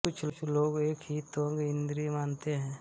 कुछ लोग एक ही त्वग् इंद्रिय मानते हैं